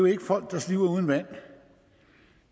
er folk der sliber uden vand